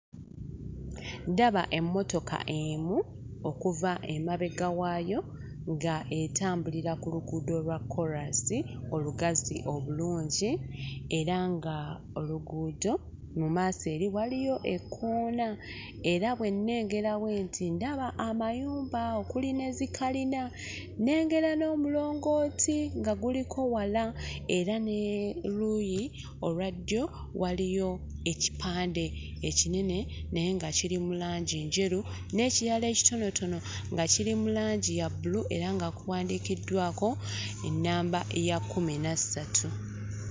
Ndaba emmotoka emu, okuva emabega waayo nga etambulira ku luguudo lwa kkoolansi olugazi obulungi era ng'oluguudo mu maaso eri waliyo ekkoona era bwe nnengera bwenti ndaba amayumba okuli ne zi kalina. Nnengera n'omulongooti nga guliko wala era ne luyi olwa ddyo waliyo ekipande ekinene naye nga kiri mu langi njeru n'ekirala ekitonotono nga kiri mu langi ya bbulu era nga kuwandiikiddwako ennamba ya kkumi na ssatu